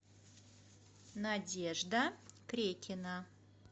надежда крекина